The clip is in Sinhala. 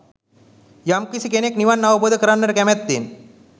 යම් කිසි කෙනෙක් නිවන් අවබෝධ කරන්නට කැමැත්තෙන්